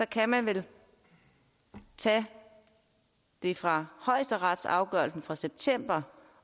kan man vel tage det fra højesteretsafgørelsen fra september